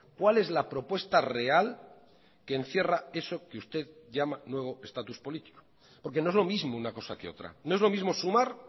cuál es la propuesta real que encierra eso que usted llama nuevo estatus político porque no es lo mismo una cosa que otra no es lo mismo sumar